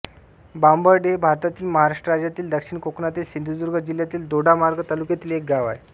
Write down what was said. बांबर्डे हे भारतातील महाराष्ट्र राज्यातील दक्षिण कोकणातील सिंधुदुर्ग जिल्ह्यातील दोडामार्ग तालुक्यातील एक गाव आहे